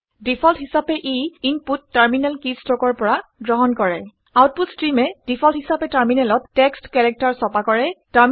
default হিচাপে input terminal কিষ্ট্ৰকৰ পৰা গ্ৰহণ কৰে আউটপুট ষ্ট্ৰীমে ডিফল্ট হিচাপে টাৰমিনেলত টেক্সট কেৰেক্টাৰ ছপা কৰে